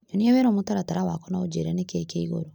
Nyonia werũ mũtaratara wakwa na ũnjĩre nĩkĩĩ kĩ igũrũ .